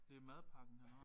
Det madpakken han har